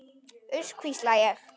Uss, hvísla ég.